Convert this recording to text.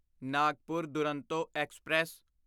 Nagpur Duronto express